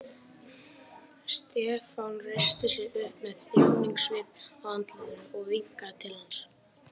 Stefán reisti sig upp með þjáningasvip á andlitinu og vinkaði til hans.